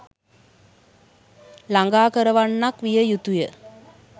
ළඟා කරවන්නක් විය යුතුය.